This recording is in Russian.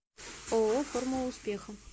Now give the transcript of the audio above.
ооо формула успеха